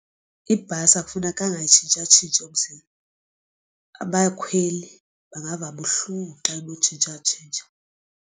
Ibhasi akufuneka itshintshatshintshe umzila abakhweli bangava kabuhlungu xa inotshintshatshintsha.